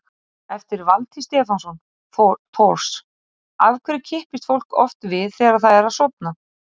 Eftir Valtý Stefánsson Thors: Af hverju kippist fólk oft við þegar það er að sofna?